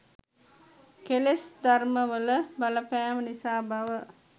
කෙලෙස් ධර්මවල බලපෑම නිසා බව